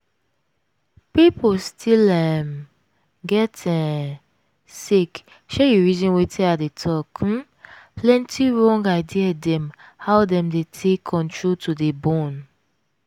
pipo still um get um sake say you reason wetin i dey talk um plenty wrong idea dem how dem dey take control to dey born.